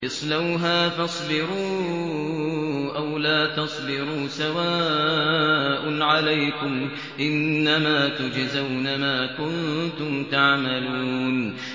اصْلَوْهَا فَاصْبِرُوا أَوْ لَا تَصْبِرُوا سَوَاءٌ عَلَيْكُمْ ۖ إِنَّمَا تُجْزَوْنَ مَا كُنتُمْ تَعْمَلُونَ